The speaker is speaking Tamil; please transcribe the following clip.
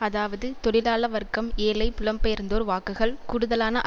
அதாவது தொழிலாள வர்க்கம் ஏழை புலம்பெயர்ந்தோர் வாக்குகள் கூடுதலான